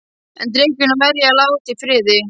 En drykkjuna verð ég að láta í friði.